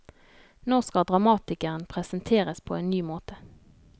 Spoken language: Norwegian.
Nå skal dramatikeren presenteres på en ny måte.